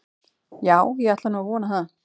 Já, ég ætla nú að vona það.